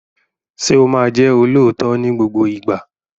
Ṣé o máa jẹ́ olóòótọ́ ní gbogbo ìgbà?